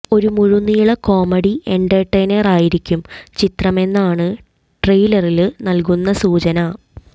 ഒരു മുഴുനീള കോമഡി എന്റര്ടെയ്നറായിരിക്കും ചിത്രമെന്നാണ് ട്രെയ്ലറില് നല്കുന്ന സൂചന